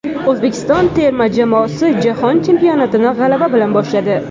O‘zbekiston terma jamoasi Jahon chempionatini g‘alaba bilan boshladi.